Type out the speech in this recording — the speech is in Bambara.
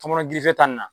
Tɔmɔnɔ girifeta nin na